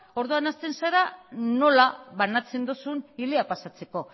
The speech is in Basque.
orduan hasten zara nola banatzen duzun hilea pasatzeko